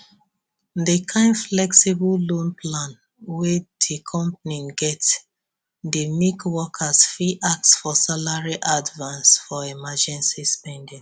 di kind flexible loan plan wey di company get dey make workers fit ask for salary advance for emergency spending